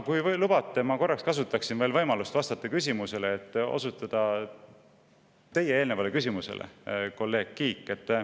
" Kui lubate, siis ma kasutaksin võimalust vastata küsimusele, mille eelnevalt esitas kolleeg Kiik.